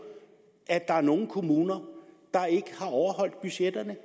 at der er nogle kommuner der ikke har overholdt budgetterne